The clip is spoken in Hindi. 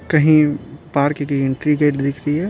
कहीं पार्क की एंट्री गेट दिख रही है।